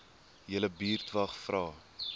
julle buurtwag vra